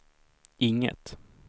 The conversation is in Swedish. inget